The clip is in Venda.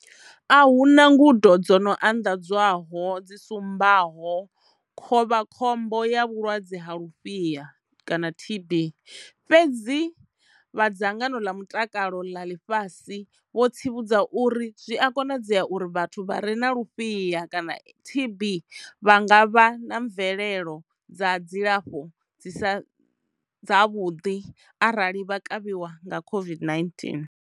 A hu na ngudo dzo no anḓadzwaho dzi sumbaho khovhakhombo ya vhulwadze vha lufhiha kanaTB fhedzi vha dzangano ḽa mutakalo ḽa ḽifhasi vho tsivhudza uri zwi a konadzea uri vhathu vha re na lufhiha kana TB vha nga vha na mvelelo dza dzilafho dzi sa dzavhuḓi arali vha kavhiwa nga COVID-19.